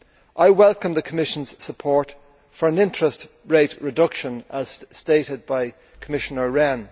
I welcome the Commission's support for an interest rate reduction as stated by Commissioner Rehn.